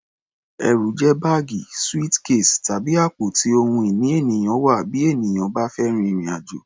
Ẹrù jẹ́ báàgì, suitcase, tàbí àpò tí ohun ìní ènìyàn wà bí ènìyàn bá fẹ́ rin ìrìn-àjò.